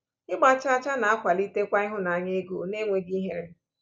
Ịgba chaa chaa na-akwalitekwa ịhụnanya ego n’enweghị ihere.